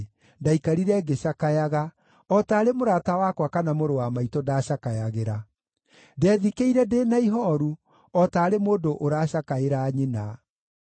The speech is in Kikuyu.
ndaikarire ngĩcakayaga, o taarĩ mũrata wakwa kana mũrũ wa maitũ ndaacakayagĩra. Ndethikĩire ndĩ na ihooru, o taarĩ mũndũ ũracakaĩra nyina.